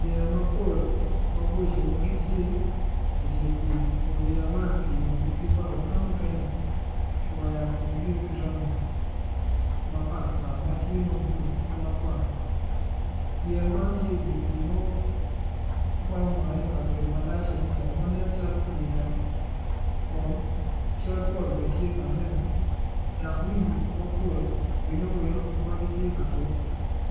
Yeya mapol maboco magitye idye pii kun yeya man kiyubogi ki bao ka mukene kiwero komgio ki rangi mapatpat matye ma blu ki makwar yeya man tye idye pii ma omane i kabedo malac adada ma nen calo pii nam kun cal pol bene tye ka nen dok winyi mapol winyo owelo tye ka tuk